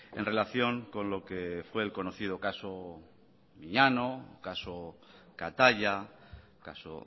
en relación con lo que fue el conocido caso miñano caso kataia caso